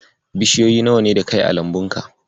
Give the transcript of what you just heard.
Bishiyoyi nawa ne da kai a lambunka?